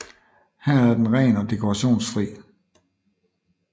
Her er den ren og dekorationsfri